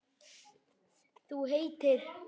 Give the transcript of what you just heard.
Þú heitir?